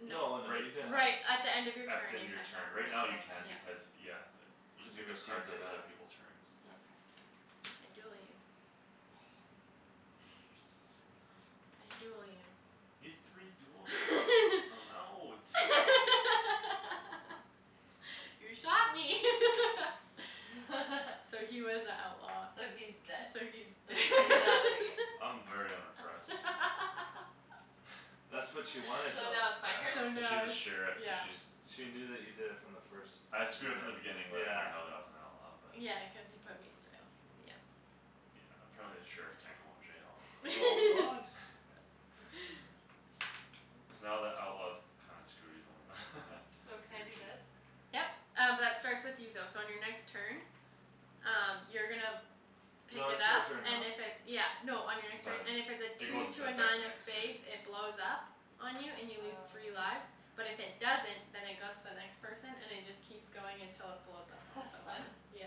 Y- No. No, no, you can Right have Right, at the end of your At the turn end you of your can't have turn. more Right now than, you can yeah. Okay. because, yeah. You can Cuz you pick up received cards on it, other yeah. people's turns. Mm. Okay. I duel you. You serious? I duel you. You had three duels there? I'm out. You shot me. So he was a outlaw. So he's dead. So he's So d- he, he's out of the game. I'm very unimpressed. That's what she wanted So though. now Yeah, it's my I So know, turn? cuz now she's a it's, sheriff, cuz yeah. she's, yeah. She knew that you did it from the first I screwed up from the minute. beginning letting her Yeah. know that I was an outlaw but Yeah, cuz he put me in jail, yeah. Yeah, apparently the sheriff can't go in Oh, jail. what? So now the outlaw's kinda screwed; he's the only one, So can he I or do she. this? Yep. Um b- that starts with you though so on your next turn Um you're gonna No, pick it it's her up turn now. and if it's, yeah No, on your next So turn, then and if it's a it two goes into to a effect nine the of next turn. spades it blows up On you and you lose three Oh. lives. But if it doesn't, then it goes to the next person and it just Keeps going until it blows up on That's fun. someone, yeah.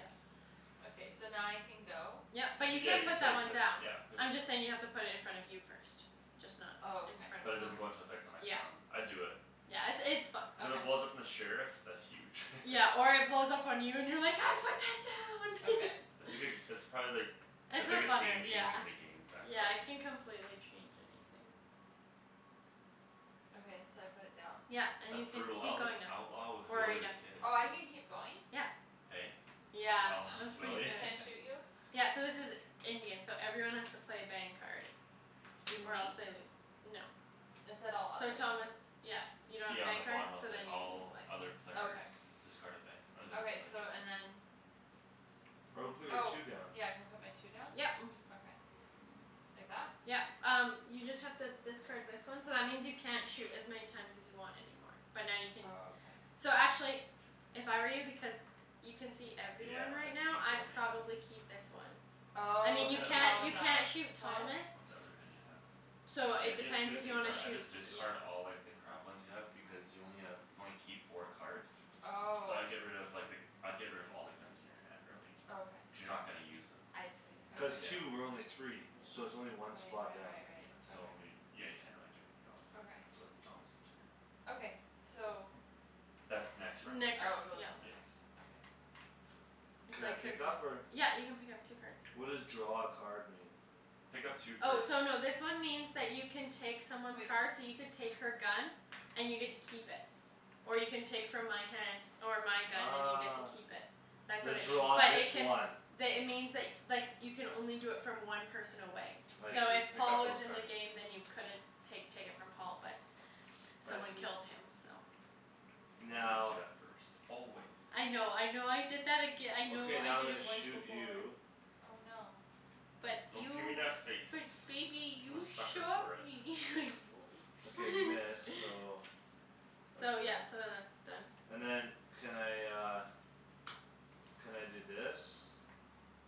So now I can go? Yep, but you Yeah, can you put that place one it. down. Yeah, place it I'm just saying you have down. to put it in front of you first. Just not Oh, in okay. front But of it doesn't Thomas. go into effect till next Yep round. I'd do it. Yeah, it's, it's fun. Cuz if it Okay. blows up on the sheriff, that's huge. Yeah, or it blows up on you and you're like, "I put that Okay. It's down!" a good, it's probably like The It's a biggest funner, game changer yeah, in the games, that yeah, it card. can complete change anything. Okay, so I put it down? Yep. And That's you can brutal. I keep was an going now. outlaw with Or are Willy you the done? Kid. Oh, I can keep going? Yeah. Hey? I was an Yeah, outlaw with that's pretty Willy? Can good. I shoot you? Yeah, so this is Indian, so everyone has to play a bang card. Even Or me? else they lose, no. It said all So others. Thomas, yeah, you don't have a Yeah, on bang the card? bottom it'll So say, then you lose "All a life. other players Okay. Discard a bang or lose a Okay, so and life." then I would put your Oh, two down. yeah, can I put my two down? Yep. Okay. Like that? Yep. Um you just have to discard this one So that means you can't shoot as many times as you want anymore, but now you can Oh, okay. So actually if I were you, because You can see Yeah, everyone right I'd now, keep the I'd one you have. probably keep this one. I Oh, mean, What's you cuz the other can't, you thing you Paul's can't have? out. shoot Thomas What's the other thing you have? So Yeah, it you have two depends of the if you same wanna card. I'd shoot, just you know. discard all, like, the crap ones you have because you only have, you can only keep four cards. So Oh. I'd get rid of, like, the, I'd get rid of all the guns in your hand, really. Okay. Cuz you're not gonna use them. I see, okay. Cuz Yeah. two. We're only three. So it's only one Right, spot right, down. right, Yeah, right. so Okay. y- yeah, you can't really do anything else. Okay. So it's Thomas' turn. Okay, so That's next round. Oh, it Next round, goes yep. on the Yes. next one, okay. It's Can I like pick up or? yep, you can pick up two cards. What does draw a card mean? Pick up two Oh, cards. so no, this one means that you can take someone's Wait. card so you could take her gun And you get to keep it or you can take from my hand Or my gun and you get to keep it. That's The, what it means draw but it this can one. The, it means, like, like you can only do it from one person away. I Pick, So see. if pick Paul up was those in the cards. game then you couldn't pake, take it from Paul but I Someone see. killed him, so. You always do Now that first. Always. I know, I know I did that aga- I know Okay, I now I'm did gonna it once shoot before. you. Oh, no. Nice. But Don't give me you, that face. but baby, I'm a you sucker shot for it. me Okay, you. miss, so that's So fine. yeah, so then that's done. And then can I uh Can I do this?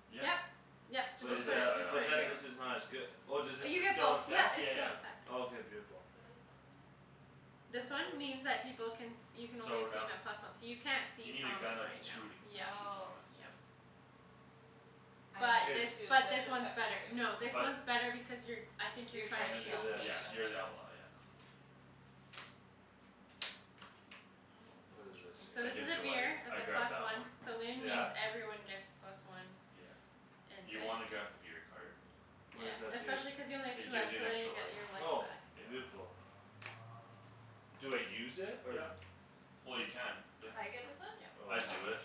Yep. Yep, so Just But put just it is to put the it, side that, just on, put but it then here. yeah. this is not as good Oh, does Uh this is you st- get still both; in - yep, fect? it's Yeah, still yeah. in effect. Oh, k, beautiful. What is that one? This one means that people can You can only So see no- 'em at plus one. So you can't You see need a gun Thomas of right two now. to Yeah, shoot Oh. Thomas, yeah. yeah. I But K. this, needed two so I but this should have one's kept better. No, the two. this But one's better because you're I think you're You're I'm trying trying to gonna to do shoot kill this. me. me, Yeah, you're okay. the outlaw, yeah. What is this Oh, interesting. So That this here? is gives a you life, beer, it's a I'd grab plus that one. one. Saloon Yeah? means everyone gets plus one. Yeah. And You wanna bang grab the is beer card. Yeah, What does that do? especially cuz you only have two It gives lives you so an then extra you life. get your life Oh, back. Yeah. beautiful. Do I use it or? Yep. Well, you can, yep. I get this one? Yep. Oh I I'd Oh. see. do it.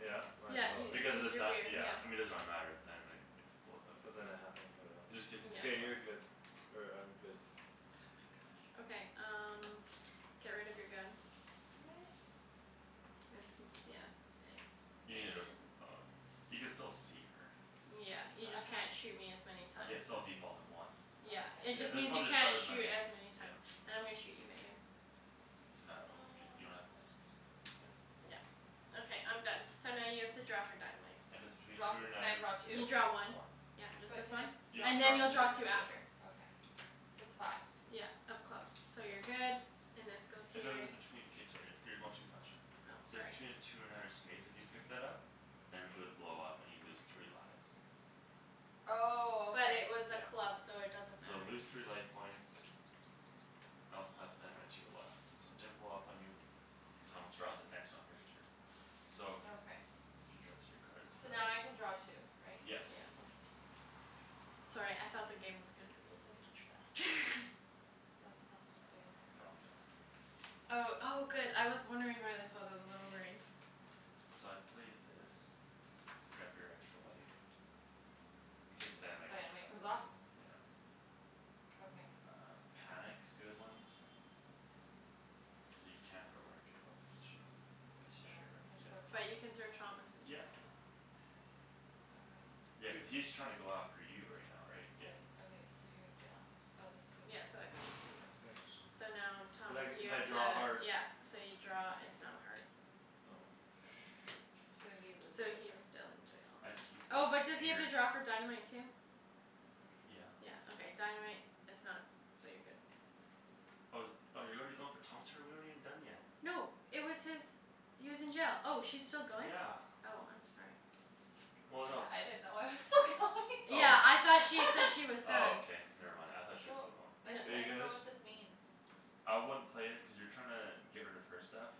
Yeah? Might Yeah, as well, you, right? Because of this the is your beer, dy- yeah yeah. I mean, it doesn't really matter, the dynamite If it blows up in But then there. I have emporio. It just gives an Yeah. extra K, you're life. good. Or I'm good. Okay, um get rid of your gun. What? It's m- yeah. You need a, And oh, you can still see her. Yeah, you But I just have can't shoot me as many Yeah, times. it's still a default of one. Yeah, Okay. it Yeah. just This means one you just shot can't as shoot many, as many times. yeah. And I'm gonna shoot you, Megan. So now it'll be, you don't have a miss, No. so. Yeah, okay I'm done. So now you have to draw for dynamite. If it's between Draw two fo- or can nine I draw of You two? spades. draw one. One. Yep, just But this can I one. You have draw And then you'll to draw draw for two this after. Okay, so it's five. Yeah, of clubs, so you're Yep. good. And this goes If here. it was between, k, sorry, you're going too fast, Shan. Oh, So sorry. between two or nine of spades, if you picked that up Then it would blow up and you'd lose three lives. Oh, But okay. it was a Yeah. club, so it doesn't So matter. lose three life points Else pass dynamite to your left. So it didn't blow up on you. Thomas draws it next on his turn. So if you, Okay. if you draw So now I can draw two, right? K. Yes. Yeah. Sorry, I thought the game was gonna be This over is much faster. That's I not supposed to be dunno, in there, wrong right? deck. Oh, oh, good I was wondering where this was; I was a little worried. So I'd play this. Grab your extra life. In case the dynamite comes Dynamite back goes the other off? way, yeah. Okay. Uh, panic's good one. So you can't throw her in jail because she's Sure, Sheriff, can I throw yeah. But you can throw Thomas Thomas in jail? in Yep. jail, yeah. Okay. Yeah, cuz Cuz he's trying to go after you right now, right? Yeah. Right, okay. So you're in jail. Oh, this Yeah, goes so that goes to him. Yeah. Thanks. So now, But Thomas I, you if I have to, draw a heart yeah. So you draw, it's not a heart. Oh. So Shoot. So he loses So a he's turn. still in jail. I'd keep this Oh, but does he in have your to draw for dynamite too? Yeah. Yeah, okay, dynamite is not, so you're good. Oh, is it, oh, you're already going for Thomas' turn? We aren't even done yet. No, it was his He was in jail; oh, she's still going? Yeah. Oh, I'm sorry. Well, no I didn't it's know I was still going. Oh. Yeah, I thought she said he was Oh, done. okay, never mind, I thought she was Well. still going. Are I, I you dunno guys what this means. I wouldn't play it cuz you're trying to get rid of her stuff.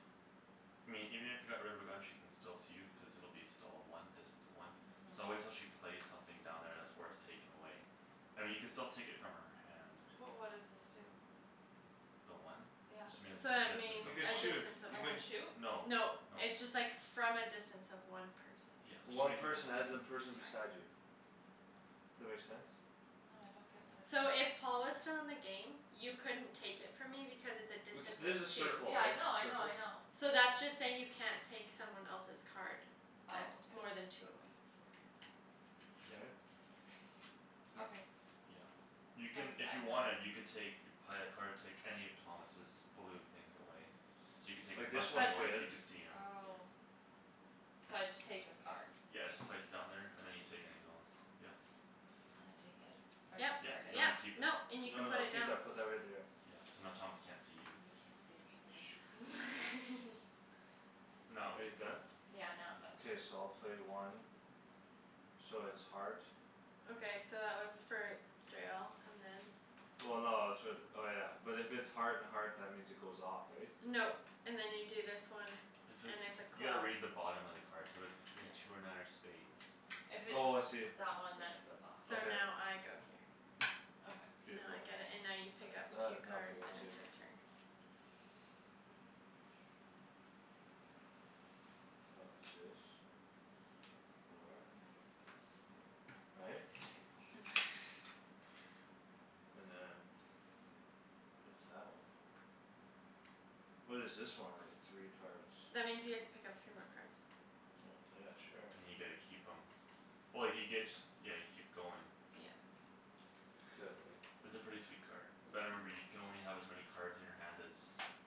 I mean, even if you got rid of her gun she can still see you cuz it'll be still a one, distance of one. So Mhm. wait till she plays something down there that's worth taking away. I mean, you could still take it from her hand. But what does this do? The one? It just Yeah. means So a that distance means You of could a one. shoot. distance of You I one. can can shoot? No, no. No, it's just, like, from a distance of one person. Yeah, there's too One many people person talking. as in Sorry. person beside you. That make sense? No, I don't get what it So does. if Paul was still in the game You couldn't take it from me because it's a It's, distance this is a of two. circle Yeah, I right? know, I know, I Circle? know. So that's just saying you can't take someone else's card That's Oh, more than okay. two away. Okay. Yeah. K. Okay. Okay. Yeah. So You can, I'm d- if you I'm wanted done. you can take You'd play a card, take any of Thomas's blue things away. So you could take his Like this mustang But one's away so good. you could see him. Oh. So I just take the card. Yeah, Okay. just place it down there and then you take any other ones. Yeah. Can I take it? Or I Yep, Yep, discard it? no you yep, keep it. nope, and you can No, put no, it keep down. that put that right there. Yeah, so now Thomas can't see you. You can't see me, babe. No, Are you you can go. done? Yeah, now I'm done. K, so I'll play one. So it's heart. Okay, so that was for jail and then Well, no, it's for the, oh, yeah, but if it's Heart and heart, that means it goes off, right? No. And then you do this one If And it's, it's a you gotta club. read the bottom of the card. So if it's between two or nine or spades If it's Oh, I see. that one then it goes off. So Okay. now I go here. Okay. Now I Beautiful. get it and now you pick That's up that, two now I pick cards up and two. it's your turn. I'll do this. Four. Nice babe. Right? And then What is that one? What is this one? Like the three cards. That means you get to pick up three more cards. Oh, yeah, sure. And you get to keep 'em Oh, you get, yeah, you keep going. Yeah. Could, right? It's a pretty sweet card. Yeah. But remember you can only have as many Cards in your hand as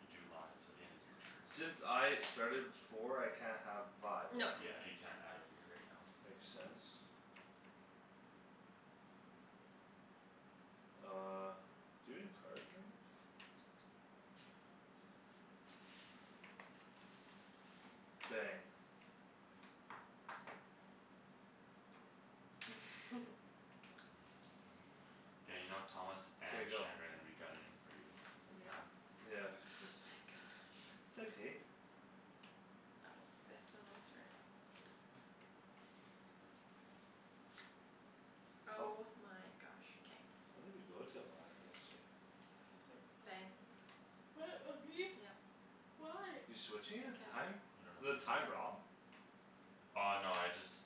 you do lives At the end of your turns. Since I started with four I can't have five, right? No. Yeah, you can't add a beer right now. Makes sense. Uh, do you have any cards, Megan? Bang. Yeah, you know, Thomas K, and go. Shandryn are gonna be gunnin' for you right now. Yeah, Oh except my gosh. It's okay. Oh, this one was for Oh my gosh. K. When did we go to a live yesterday? Quick Bang. fire. What, on me? Yep. Why? You're switching his Because. time? You don't Is have the a list? time wrong? Oh, no, I just.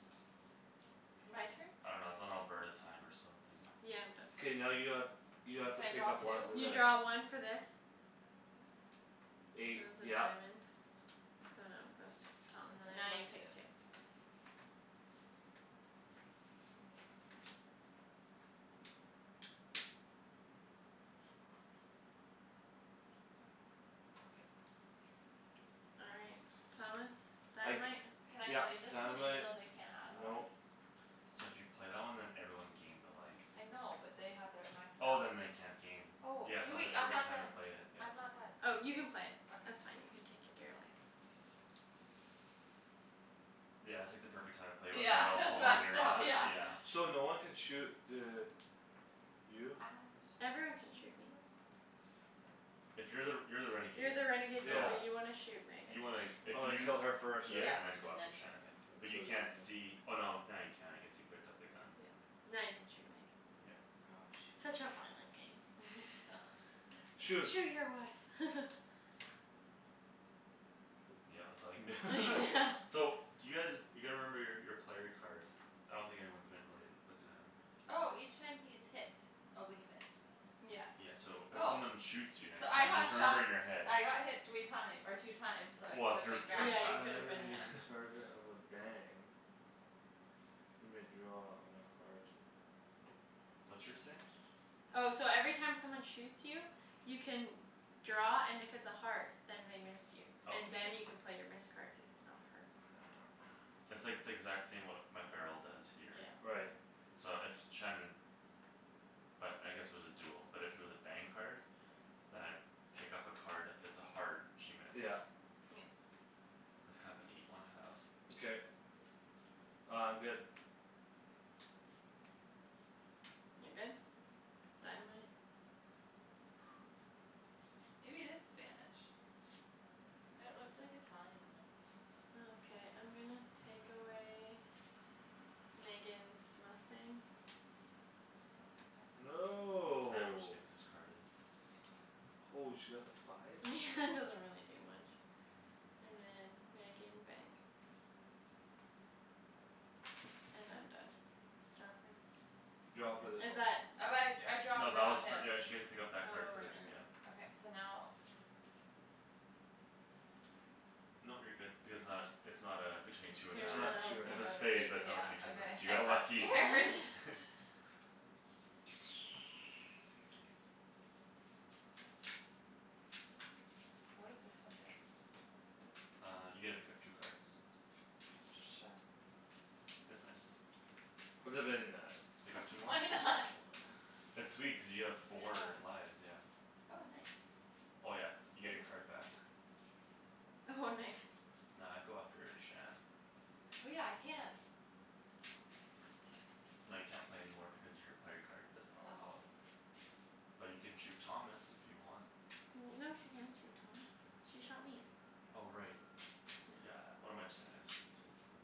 My turn? I dunno, it's on Alberta time or something. Yeah, I'm done. K, now you have, you have to Can I pick draw up two? one for You this. draw one for this. So it Eight, was a yep. diamond, so now it goes to Thomas And then and I now draw you two. take two. Oh. Okay. All right. Thomas. I c- Dynamite. Can I yep, play this one even dynamite, though they can't add a nope. life? So if you play that one then everyone gains a life. I know, but they have their max Oh, health. then they can't gain. Oh, Yeah, hey, so it's a wait, I'm perfect not time to done. play it, yeah. I'm not done. Oh, you can play. That's Okay. fine; you can take your beer away. Thank you. Yeah, it's like the perfect time to play it when Yeah, they're all full and that's you're down, not, yeah. yeah. So no one can shoot the You? I shot Everyone can the shoot me. sheriff. But If you're the, you're the You're renegade, the renegade though Yeah. so so you want to shoot Megan. You wanna, if Oh, I you kill her first, right? Yeah. Yeah, and then go And after then I Shandryn. Shan. But you kill you can't see, oh, no, now you can, I guess; you picked up the gun. Yeah, now you can shoot me. Yeah. Oh, Such shoot. a violent game. Shoot. "Shoot your wife!" Poop. Yeah, that's all you can do. Yeah. So do you guys, you gotta remember your, your player cards. I don't think anyone's been really looking at 'em. Oh! Each time he is hit. Oh, but he missed me. Yeah. Yeah, so if Oh. someone shoots you So next I time got just remember shot in your head. I got hit three time- or two times so I Well, if could've your been turn's Yeah, grabbing. you passed, could've Whenever been, yeah. he's Okay. yeah. a target of a bang you may draw on a heart. What's yours say? Oh, so every time someone shoots you You can draw, and if it's a heart, then they missed you. Oh, And k, yep. then you can play your missed cards if it's not a heart. It's like the exact same, what my barrel does here. Yeah. Right. So if Shandryn But I guess it was a duel, but if it was a bang card Then I pick up a card, and if it's a heart, she missed. Yeah. Yep. That's kind of a neat one have. K. Uh, I'm good. You're good? Dynamite? Maybe it is Spanish. It looks like Italian, though. Okay, I'm gonna take away Megan's mustang. Oh, now I have nothing. Right when she No. gets discarded. Holy, she got the five? Doesn't really do much. And then, Megan, bang. And I'm done. Draw for? Draw Oh for but this Is one. that? I, I draw No, cuz I that was got for, hit. yeah, she get to pick up Oh, right, that card right, first, yeah. right. Okay, so now. Nope, you're good. Because it's not, Mhm. it's not uh, between two or Two It's or nine. not Oh, two or it's It's nine. a nine. a have spade, but it's a, yeah, not between two or nine. okay. So you I got got lucky. scared. What does this one do? Uh, you get to pick up two cards. It's just, Sure. it's nice. It's a Okay. very nice. Pick up two more. Why not? It's sweet cuz you have Yeah. four lives, yeah. Oh, nice. Oh, yeah, you get your Ooh. card back. Oh, nice. Nah, I'd go after Shan. Oh, yeah, I can. No, you can't play any more because your player card doesn't allow Oh. it. But you can shoot Thomas, if you want. No, she can't shoot Thomas. She shot me. Oh, right. Yeah. Yeah, what am I j- saying, I just didn't see anything.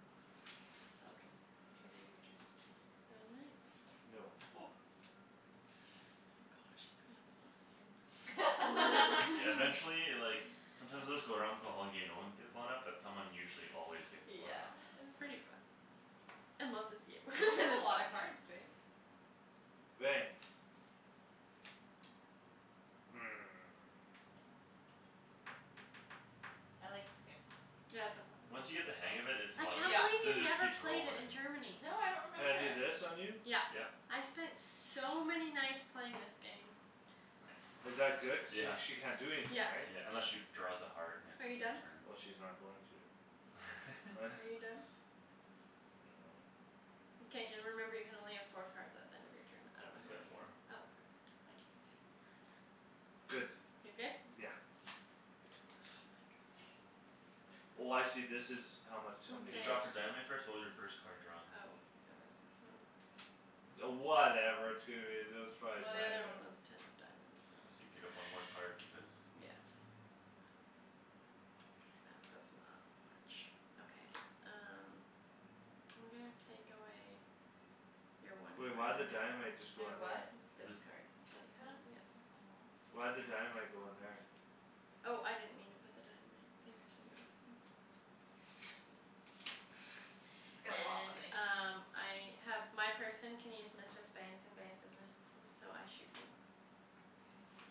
It's all good. K, babe, your Yeah. turn. Dynamite. No. Oh gosh, it's gonna blow soon. Yeah, eventually, like Sometimes it would just go around for the whole game, no ones get blown up, but someone usually always gets blown Yeah, up. it's pretty fun. Unless it's you. You have Then a it's lot of cards, babe. Bang. Hmm. I like this game. Yeah, it's so fun. Once you get the hang of it, it's a I lot of can't Yeah. fun. believe Cuz it you just never keeps played it in rolling. Germany. No, I don't Can remember I do it. this on you? Yeah. Yep. I spent so many nights playing this game. Nice. Is that good, cuz sh- she can't do Yeah. anything, Yeah. right? Yeah, unless she draws a heart next Are you done? turn. Well, she's not going to. Are you done? I dunno. Mkay. Remember you can only have four cards at the end of your turn. I don't know He's how got many you, four. oh, perfect. I can't see. Good. You're good? Yeah. Oh my gosh. Oh, I see, this is how much how many You Okay. draw cards. for dynamite first? What was your first card drawn? Oh, it was this one. Oh, whatever, that was probably Well, the other one dynamite. was ten of diamonds, So you so. pick up one more card because, Yeah. yeah. That does not much. Okay, um. I'm gonna take away Your one Wait, why'd the dynamite just My go in there? what? This This card. This You have, one? yep. Aw. Why'd the dynamite go in there? Oh, I didn't mean to put the dynamite. Thanks for noticing. It's gonna go off on And me. um, I have My person can use missed as bangs and bangs as missed-esses, so I shoot you. K.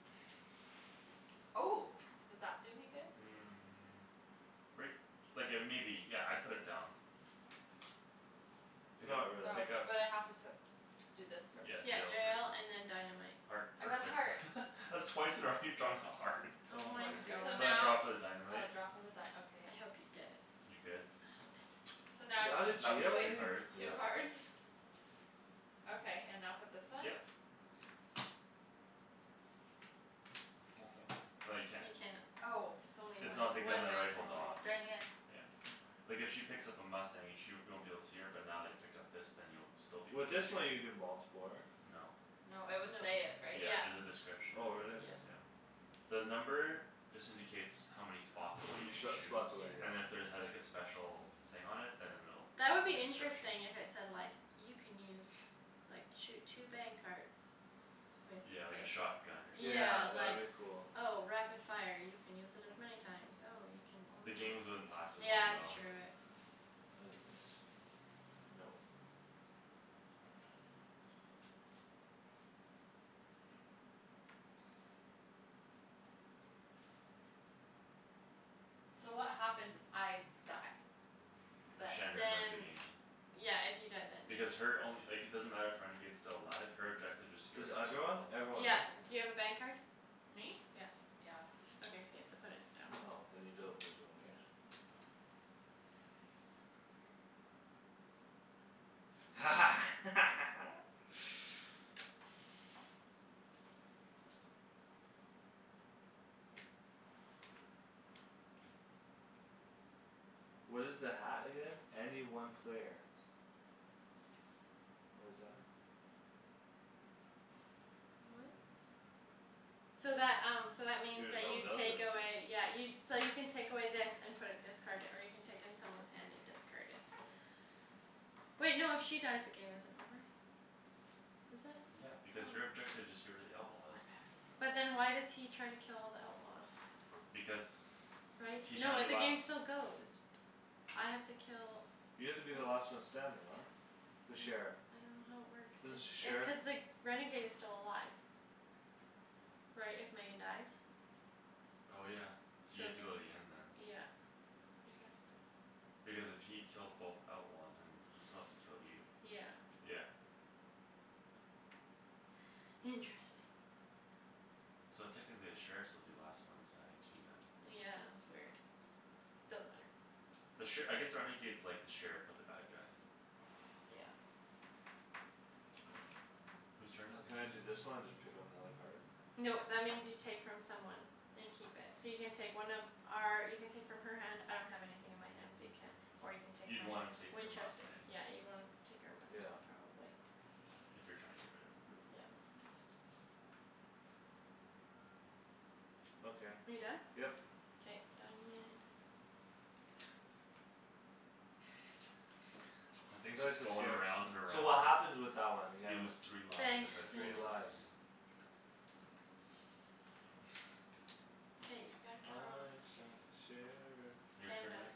Oh. Does that do me good? Mm, right, like uh maybe. Yeah, I'd put it down. Pick Not up, Oh, really. pick up. but I have to put Do this Mm, first. Yeah, jail yeah first. and then dynamite. Heart, I got perfect. heart. That's twice in a row you've drawn a heart. Oh Oh my my So goodness. gosh. So I draw now for the Oh, dynamite. draw for the dy- okay. I hope you get it. You good? Ah, damn it. So now You're outta Now pick jail if, up two wait, already? cards, yeah. two Poop. cards? Okay, and now put this one? Yep. No, you can't. You can't. Oh. It's only It's one, not the gun one that bang per rifles Aw, off. turn, dang yeah. it. Yeah. Like if she picks up a mustang, you sh- you won't be able to see her, but now that he picked up this then you'll still be able to With this see her. one, you can do multipler. No. No, it would No. say it, right? Yeah, Yeah. there's a description Oh, if there really? is, Yep. Okay. yeah. The number just indicates how many H- spots how away you many can sh- shoot. spots away, Yeah. And if yeah. there had like a special thing on it, then it'll, That would like be a description. interesting, if it said like You can use, like, shoot two bang cards With Yeah, like a this. shotgun or something, Yeah, Yeah, that like, would be yeah. cool. oh, rapid fire, you can use it as many times. Oh, you can The only games wouldn't last as long, Yeah, it's though. true, it What is this? Nope. So what happens if I die? Then Then Shandryn wins the Then game. Yeah, if you die then. Because her only, like, it doesn't matter if renegade's still alive, her objective is to get Cuz rid of two everyone? outlaws. Everyone, Yeah, right? do you have a bang card? Me? Yeah. Yeah. Okay, so you have to put it down. Oh, then you don't lose one these. No. What is the hat again? Any one player. What is that? What? So that, um, so that means Your you take away, yeah, you So you can take away this and put it discarded, or you can take in someone's hand and discard it. Wait, no, if she dies, the game isn't over. Is it? Yeah, because your Oh. objective is just get rid of the outlaws. I'm having But then troubles. why does he try to kill all the outlaws? Because Right? He's No, trying to it, be the last game still goes. I have to kill You have to be the last one standing, right? I'm The sheriff. s- I don't know how it works, This the sh- if uh sheriff? cuz the renegade is still alive. Right, if Megan dies? Oh, yeah, so you have Same, to go to the end then. yeah. I guess so. Because if he kills both outlaws, then he still has to kill you. Yeah. Yeah. Okay. Interesting. So technically the sheriffs will be the last one standing too, then. Yeah, it's weird. Doesn't matter. The sher- I guess the renegade's like the sheriff, but the bad guy. Yeah. Whose turn is Can I it? do this one and just pick up another card? Nope, that means you take from someone. And keep it. So you can take one of our, you can take from her hand, I don't have anything in my hand so you can't. Or you can take You'd my wanna take her Winchester, mustang. yeah, you'd wanna take our Yeah. mustang probably. If you're trying to get rid of her. Mm, yeah. Okay. Are you done? Yep. K, dynamite. That thing's just is going scared. around and So around. what happens with that one again? You lose three lives Bang, if it Three blows Megan. up on lives. you. Hey, we gotta kill her off. I shot the sheriff. Your K, I'm turn, done. Meg?